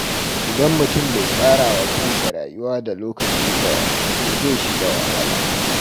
Idan mutum bai tsara wa kansa rayuwa da lokaci ba, to zai shiga wahala.